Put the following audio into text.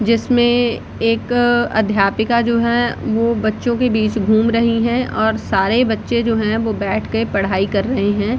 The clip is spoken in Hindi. जिसमें एक अध्यापिका जो है वो बच्चों के बीच घूम रहीं हैं और सारे बच्चे जो हैं वो बैठ के पढ़ाई कर रहें हैं।